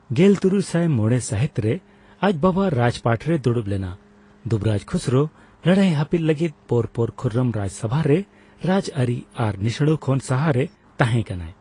ᱜᱮᱞ ᱛᱩᱨᱩᱭᱥᱟᱭ ᱢᱚᱲᱮ ᱥᱟᱹᱦᱤᱛᱨᱮ ᱟᱪ ᱵᱟᱵᱟ ᱨᱟᱡᱽᱯᱟᱴᱨᱮ ᱫᱩᱲᱩᱯ ᱞᱮᱱᱟ ᱾ ᱡᱩᱵᱚᱨᱟᱡᱽ ᱠᱷᱩᱥᱨᱩᱨ ᱞᱟᱹᱲᱦᱟᱹᱭ ᱦᱟᱹᱯᱤᱫ ᱞᱟᱹᱜᱤᱫ ᱯᱚᱨᱯᱚᱨ ᱠᱷᱩᱨᱨᱚᱢ ᱨᱟᱡᱽᱥᱚᱵᱷᱟ ᱨᱮ ᱨᱟᱡᱽᱟᱹᱨᱤ ᱟᱨ ᱱᱤᱥᱲᱟᱹᱣ ᱠᱷᱚᱱ ᱥᱟᱦᱟᱨᱮ ᱛᱟᱸᱦᱮ ᱠᱟᱱᱟᱭ ᱾